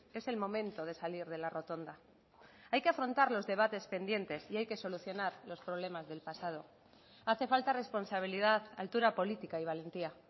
es el momento de salir de la rotonda hay que afrontar los debates pendientes y hay que solucionar los problemas del pasado hace falta responsabilidad altura política y valentía